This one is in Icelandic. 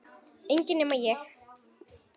Enginn nema ég